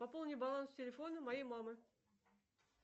пополни баланс телефона моей мамы